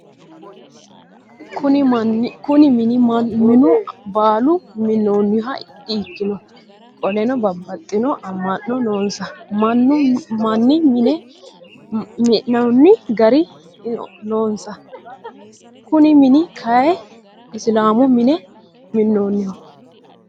Kuni mini mannu baalu mi'nannoha dikkino. Qoleno babbaxitino ama'no noonsa manni mine mi'nano gari noonsa. Kuni mini kayii isilaamu manni mi'nannoho.